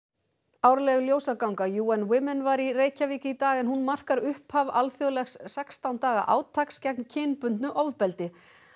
árleg ljósaganga UN Women var í Reykjavík í dag en hún markar upphaf alþjóðlegs sextán daga átaks gegn kynbundnu ofbeldi